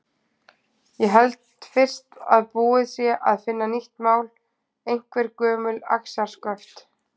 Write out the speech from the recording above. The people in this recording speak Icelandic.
Ég held fyrst að búið sé að finna nýtt mál, einhver gömul axarsköft.